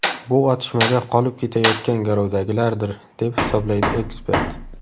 Bu otishmada qolib ketayotgan garovdagilardir”, deb hisoblaydi ekspert.